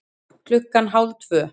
Klukkan hálf tvö